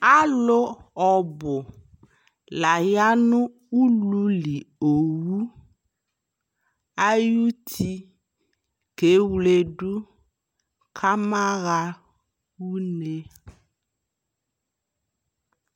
Alʋ ɔbʋ la ya nʋ ululi owʋ ayuti kewledʋ kamaɣa une